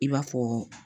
I b'a fɔ